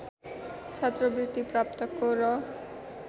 छात्रवृत्ति प्राप्तको र